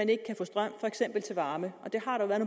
ikke kan få strøm til varme og det har der været